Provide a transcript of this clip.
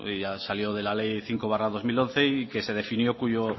ya salió de la ley cinco barra dos mil once y que se definió cuyo